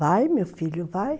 Vai, meu filho, vai.